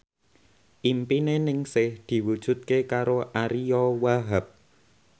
impine Ningsih diwujudke karo Ariyo Wahab